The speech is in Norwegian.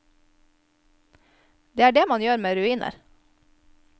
Det er det man gjør med ruiner.